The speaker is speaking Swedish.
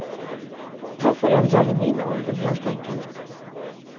Ta föräldrar i min ålder helt enkelt.